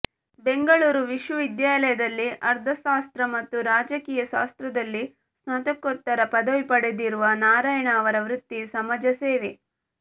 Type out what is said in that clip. ಬೆಂಗಳೂರು ವಿಶ್ವವಿದ್ಯಾಲಯದಲ್ಲಿ ಅರ್ಥಶಾಸ್ತ್ರ ಮತ್ತು ರಾಜಕೀಯ ಶಾಸ್ತ್ರದಲ್ಲಿ ಸ್ನಾತಕೋತ್ತರ ಪದವಿ ಪಡೆದಿರುವ ನಾರಾಯಣ ಅವರ ವೃತ್ತಿ ಸಮಾಜಸೇವೆ